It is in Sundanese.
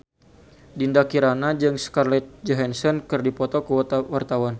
Dinda Kirana jeung Scarlett Johansson keur dipoto ku wartawan